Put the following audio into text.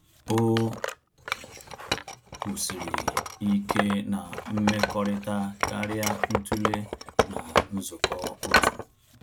O kwụsịrị ike na mmekọrịta karịa ntule na nzukọ otu